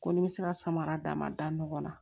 Ko ni n bɛ se ka samara d'a ma da ɲɔgɔn na